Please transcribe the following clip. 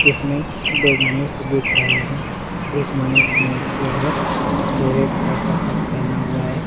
इसमें दो मनुष्य दिख रहे है एक मनुष्य नीचे है जो रेड कलर का शर्ट पहना हुआ है।